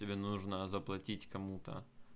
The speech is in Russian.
тебе нужно заплатить кому-то